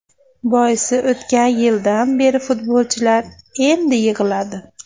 Boisi, o‘tgan yildan beri futbolchilar endi yig‘iladi.